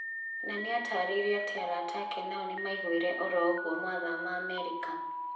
Nanĩatarĩirie atĩ arata ake nao nĩmaiguire oro oguo mathama Amerika